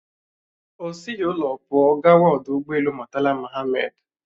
O sighi ụlọ pụọ gawa ọdụ ụgbọelu Murtala Mohammed